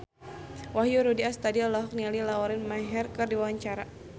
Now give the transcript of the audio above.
Wahyu Rudi Astadi olohok ningali Lauren Maher keur diwawancara